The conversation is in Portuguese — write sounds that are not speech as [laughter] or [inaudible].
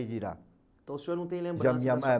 de. [unintelligible] Então o senhor não tem lembrança. [unintelligible]